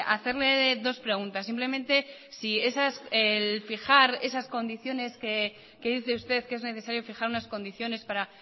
hacerle dos preguntas simplemente si el fijar esas condiciones que dice usted que es necesario fijar unas condiciones para